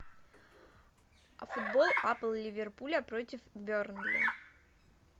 футбол апл ливерпуля против бернли